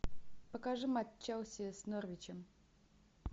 покажи матч челси с норвичем